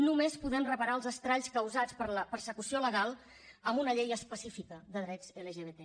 només podem reparar els estralls causats per la persecució legal amb una llei específica de drets lgbt